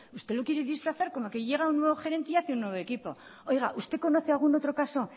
usted lo quiere disfrazar como que llega un nuevo gerente y hace un nuevo equipo oiga usted conoce algún otro caso